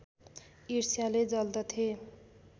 ईर्ष्याले जल्दथे